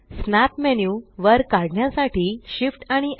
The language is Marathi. स्नॅप मेन्यू वर काढण्यासाठी Shift आणि स्